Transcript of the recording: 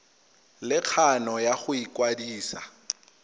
le kgano ya go ikwadisa